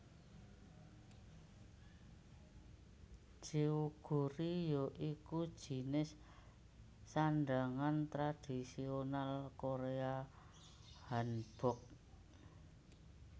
Jeogori ya iku jinis sandhangan tradisional Korea Hanbok